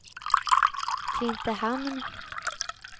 Klintehamn